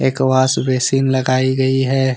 एक wash basin लगाई गई है।